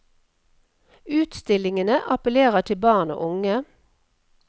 Utstillingene appellerer til barn og unge.